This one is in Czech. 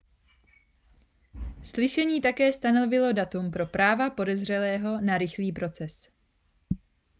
slyšení také stanovilo datum pro práva podezřelého na rychlý proces